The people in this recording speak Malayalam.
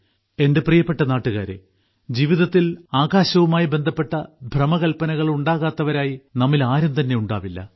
എന്റെ പ്രിയപ്പെട്ട നാട്ടുകാരെ അവരവരുടെ ജീവിതത്തിൽ ആകാശവുമായി ബന്ധപ്പെട്ട ഭ്രമകൽപ്പനകൾ ഉണ്ടാകാത്തവരായി നമ്മിൽ ആരും തന്നെ ഉണ്ടാവില്ല